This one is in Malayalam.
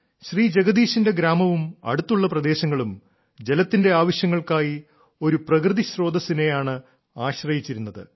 ശ്രീ ജഗദീശിന്റെ ഗ്രാമവും അടുത്തുള്ള പ്രദേശങ്ങളും ജലത്തിന്റെ ആവശ്യങ്ങൾക്കായി ഒരു പ്രകൃതി സ്രോതസ്സിനെയാണ് ആശ്രയിച്ചിരുന്നത്